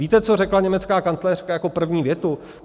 Víte, co řekla německá kancléřka jako první větu?